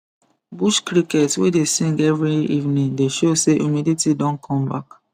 bush cricket wey dey sing every evening dey show say humidity don come back